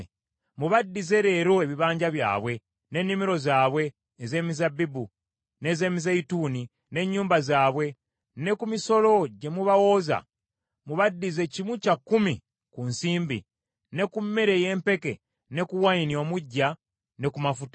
Mubaddize leero ebibanja byabwe, n’ennimiro zaabwe ez’emizabbibu, n’ez’emizeeyituuni, n’ennyumba zaabwe, ne ku misolo gye mu bawooza, mubaddize kimu kya kikumi ku nsimbi, ne ku mmere ey’empeke ne ku wayini omuggya ne ku mafuta.”